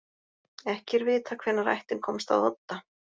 Ekki er vitað hvenær ættin komst að Odda.